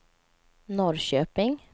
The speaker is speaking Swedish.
Norrköping